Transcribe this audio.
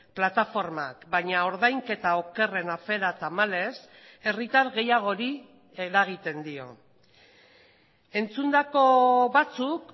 plataformak baina ordainketa okerrena afera tamalez herritar gehiagori eragiten dio entzundako batzuk